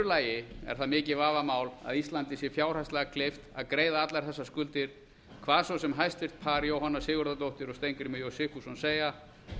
lagi er það mikið vafamál að íslandi sé fjárhagslega kleift að greiða allar þessar skuldir hvað svo sem hæstvirtur par jóhanna sigurðardóttir og steingrímur j sigfússon segja